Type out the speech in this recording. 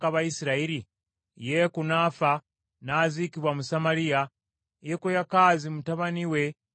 Yeeku n’afa, n’aziikibwa mu Samaliya, Yekoyakaazi mutabani we n’amusikira.